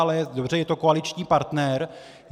Ale dobře, je to koaliční partner.